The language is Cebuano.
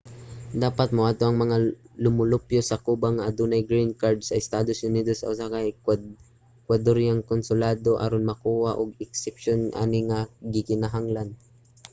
dapat moadto ang mga lumulupyo sa cuba nga adunay green card sa estados unidos sa usa ka ekwadoryahanong konsulado aron mokuha og eksepsiyon ani nga gikinahanglan